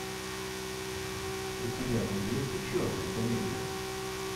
у тебя найдется черная комедия